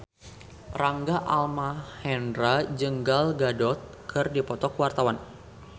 Rangga Almahendra jeung Gal Gadot keur dipoto ku wartawan